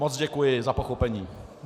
Moc děkuji za pochopení.